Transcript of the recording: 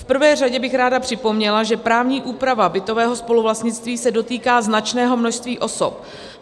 V prvé řadě bych ráda připomněla, že právní úprava bytového spoluvlastnictví se dotýká značného množství osob.